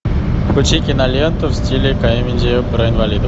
включи киноленту в стиле комедии про инвалидов